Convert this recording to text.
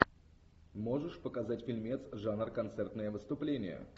можешь показать фильмец жанр концертное выступление